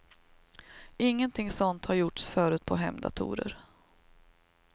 Ingenting sådant hade gjorts förut på hemdatorer.